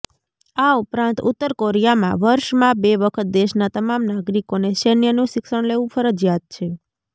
આ ઉપરાંત ઉત્તર કોરિયામાં વર્ષમાં બે વખત દેશના તમામ નાગરિકોને સૈન્યનું શિક્ષણ લેવું ફરજિયાત છે